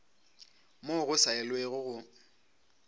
moo go sa elwego go